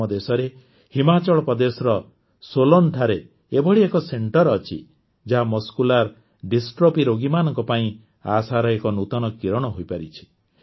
ଆମ ଦେଶରେ ହିମାଚଳ ପ୍ରଦେଶର ସୋଲନ୍ଠାରେ ଏଭଳି ଏକ ସେଣ୍ଟରେ ଅଛି ଯାହା ଗଙ୍କଗ୍ଦମଙ୍କକ୍ଷବକ୍ସ ଡିଷ୍ଟ୍ରଫି ରୋଗୀମାନଙ୍କ ପାଇଁ ଆଶାର ଏକ ନୂତନ କିରଣ ହୋଇପାରିଛି